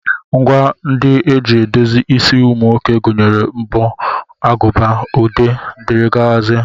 Ngwa ndị e ji edozi isi ụmụ nwoke gụnyere mbọ, aguba, ude, dg.